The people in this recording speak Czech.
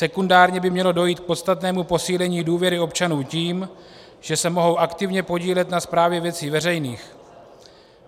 Sekundárně by mělo dojít k podstatnému posílení důvěry občanů tím, že se mohou aktivně podílet na správě věcí veřejných.